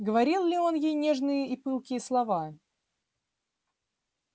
говорил ли он ей нежные и пылкие слова